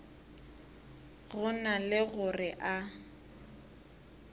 go na le gore a